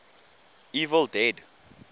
evil dead